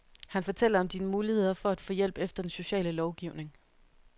Han fortæller om dine muligheder for at få hjælp efter den sociale lovgivning.